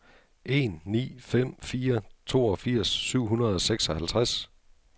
en ni fem fire toogfirs syv hundrede og seksoghalvtreds